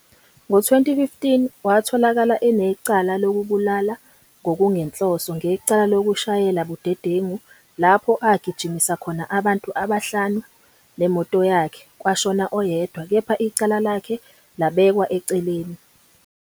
Ngo-2015 watholakala enecala lokubulala ngokungenhloso ngecala lokushayela budedengu lapho agijimisa khona abantu abahlanu nemoto yakhe, kwashona oyedwa, kepha icala lakhe labekwa eceleni.